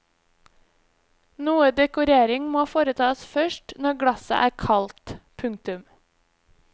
Noe dekorering må foretas først når glasset er kaldt. punktum